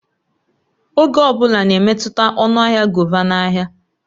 Oge ọ bụla na-emetụta ọnụ ahịa govà na ahịa